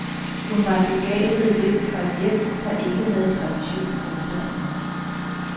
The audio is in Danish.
Hun var en begavet elev fra et hjem, der ikke havde tradition for uddannelse.